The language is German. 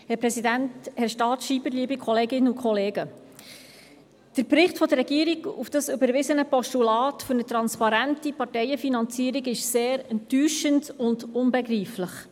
Der Bericht der Regierung gestützt auf das überwiesene Postulat für eine transparente Parteienfinanzierung ist sehr enttäuschend und unbegreiflich.